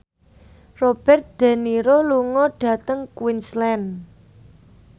Robert de Niro lunga dhateng Queensland